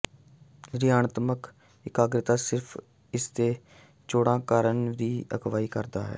ਰਿਣਾਤਮਕ ਇਕਾਗਰਤਾ ਸਿਰਫ ਇਸ ਦੇ ਚੌੜਾ ਕਰਨ ਲਈ ਅਗਵਾਈ ਕਰਦਾ ਹੈ